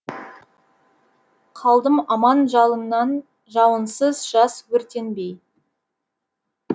қалдым аман жалыннан жауынсыз жаз өртенбей